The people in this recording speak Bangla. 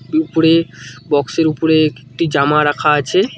উপরের বক্স -এর উপরে একটি জামা রাখা আছে।